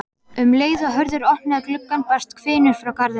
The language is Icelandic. Um leið og Hörður opnaði gluggann barst hvinur frá garðinum.